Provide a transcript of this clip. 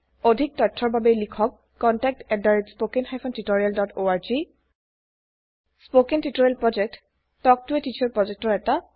অধিক তথ্যৰ বাবে লিখক contactspoken tutorialorg spoken tutorial project এটা শিক্ষকৰ লগত কথা পতা প্ৰযেক্ত